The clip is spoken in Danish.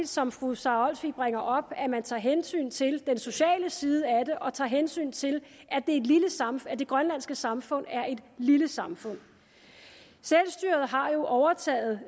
som fru sara olsvig bringer op at man tager hensyn til den sociale side af det og tager hensyn til at det grønlandske samfund er et lille samfund selvstyret har jo overtaget